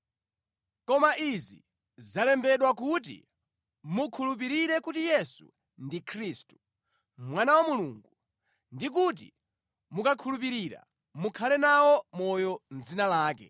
Koma izi zalembedwa kuti mukhulupirire kuti Yesu ndi Khristu, Mwana wa Mulungu, ndi kuti mukakhulupirira mukhale nawo moyo mʼdzina lake.